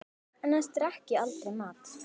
Annars drekk ég aldrei malt.